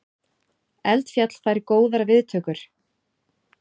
Eldfjall fær góðar viðtökur